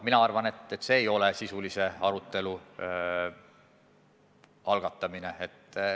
Mina arvan, et see ei ole sisulise arutelu algatamine.